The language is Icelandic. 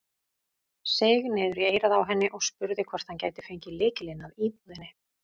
Seig niður í eyrað á henni og spurði hvort hann gæti fengið lykilinn að íbúðinni.